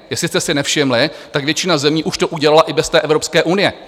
Jestli jste si nevšimli, tak většina zemí už to udělala i bez té Evropské unie.